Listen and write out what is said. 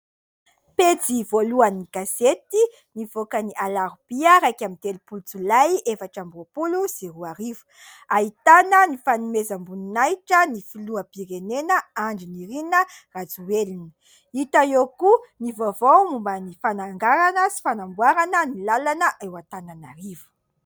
Pejy voalohan'ny gazety nivoaka ny alarobia iraika amby telopolo jolay efatra amby roapolo sy roarivo. Ahitana ny fanomezam-boninahitra ny filoham-pirenena Andry Nirina RAJOELINA. Hita eo koa ny vaovao momba ny fananganana sy fanamboarana ny làlana eo Antananarivo.